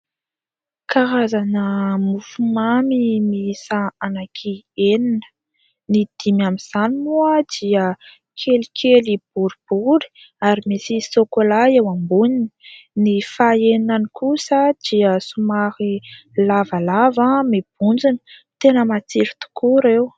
Karazana mofomamy miisa ananky enina : ny dimy amin'izany moa dia kelikely boribory ary misy sôkôla eo amboniny, ny faha eninany kosa dia somary lavalava mibontsina. Tena matsiro tokoa ireo.